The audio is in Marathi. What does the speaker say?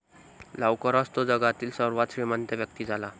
लवकरच तो जगातील सर्वात श्रीमंत व्यक्ती झाला.